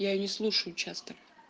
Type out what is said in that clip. я не слушаю часто